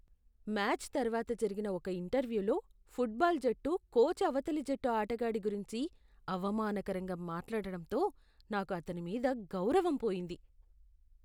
Match తర్వాత జరిగిన ఒక ఇంటర్వ్యూలో ఫుట్బాల్ జట్టు కోచ్ అవతలి జట్టు ఆటగాడి గురించి అవమానకరంగా మాట్లాడడంతో నాకు అతని మీద గౌరవం పోయింది.